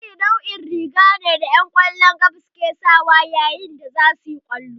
Jesi nau'in riga ce da 'yan ƙwallon ƙafa ke sawa yayin da za su yi wasan ƙwallo.